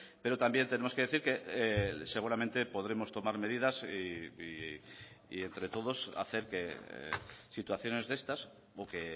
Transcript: pero también tenemos que decir que seguramente podremos tomar medidas y entre todos hacer que situaciones de estas o que